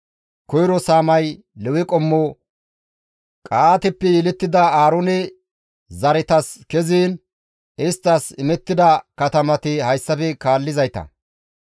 Koyro saamay Lewe qommo Qa7aateppe yelettida Aaroone zaretas keziin isttas imettida katamati hayssafe kaallizayta.